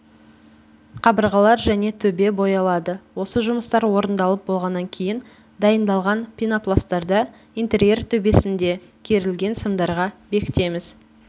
қабырғалар және төбе боялады осы жұмыстар орындалып болғаннан кейін дайындалған пенопластарда интерьер төбесінде керілген сымдарға бекітеміз